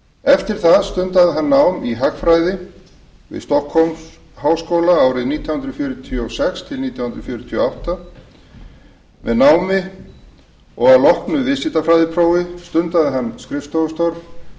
eftir það stundaði hann nám í hagfræði við stokkhólmsháskóla árin nítján hundruð fjörutíu og sex til nítján hundruð fjörutíu og átta með námi og að loknu viðskiptafræðiprófi stundaði hann skrifstofustörf í